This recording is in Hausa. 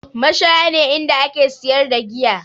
Mashaya ne inda ake siyar da giya